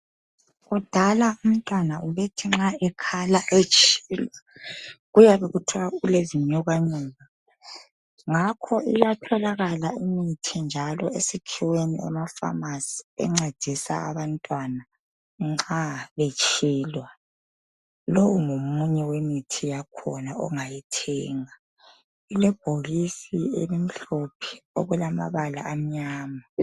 Kudala umntwana ubethi nxa ekhala etshilwa, kuyabe kuthwa ulezinyokanyoka. Ngakho iyatholakala imithi njalo esikhiweni emapharmacy encedisa abantwana nxa umntwana betshilwa. Lowu ngomunye wemithi yakhona ongayithenga. Ulebhokisi elimhlophe okulamabala amnyama.